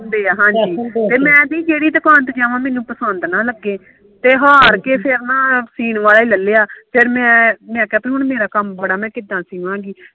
ਹਾਂਜੀ ਤੇ ਮੈ ਜਿਹੜੀ ਦੁਕਾਨ ਤੇ ਜਾਵਾ ਮੈਨੂੰ ਪਸੰਦ ਨਾ ਲੱਗੇ ਤੇ ਹਾਰ ਕੇ ਫੇਰ ਨਾ ਸਿੰਨ ਵਾਲਾ ਈ ਲਿਲੀਆਂ ਫੇਰ ਮੈਂ ਕਿਹਾ ਹੁਣ ਮੇਰਾ ਕੰਮ ਬੜਾ ਹੁਣ ਮੈਂ ਕਿਦਾਂ ਸਿਵਾਗੀ